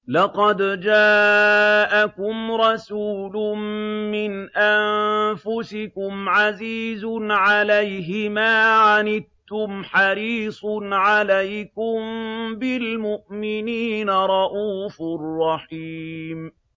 لَقَدْ جَاءَكُمْ رَسُولٌ مِّنْ أَنفُسِكُمْ عَزِيزٌ عَلَيْهِ مَا عَنِتُّمْ حَرِيصٌ عَلَيْكُم بِالْمُؤْمِنِينَ رَءُوفٌ رَّحِيمٌ